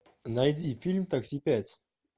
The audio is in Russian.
найди фильм такси пять